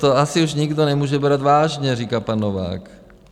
To asi už nikdo nemůže brát vážně, říká pan Novák.